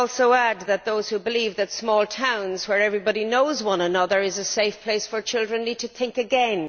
I would also add that those who believe that small towns, where everyone knows one another, are a safe place for children, need to think again.